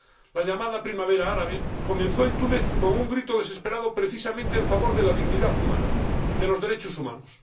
La llamada Primavera Árabe comenzó en Túnez con un grito desesperado precisamente en favor de la dignidad humana, de los derechos humanos.